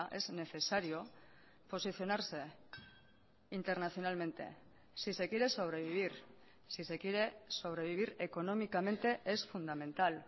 es necesario posicionarse internacionalmente si se quiere sobrevivir si se quiere sobrevivir económicamente es fundamental